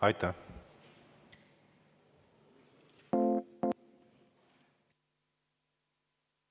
Aitäh!